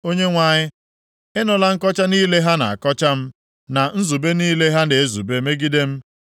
Onyenwe anyị, ị nụla nkọcha niile ha na-akọcha m na nzube niile ha na-ezube megide m.